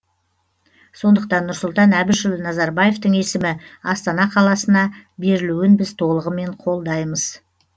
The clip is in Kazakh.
сондықтан нұрсұлтан әбішұлы назарбаевтың есімі астана қаласына берілуін біз толығымен қолдаймыз